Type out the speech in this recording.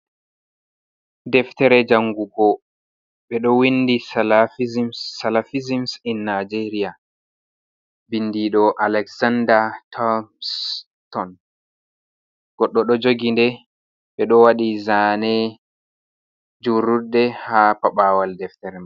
Deftere Jangugo, ɓe ɗo Windi Salafizims Salafizims in Najeriya, Bindiɗo Alekzanda Tops Ton, Godɗo ɗo Jogi nde ɓe ɗo Waɗi Zane Jururde ha Paɓawal Deftere man.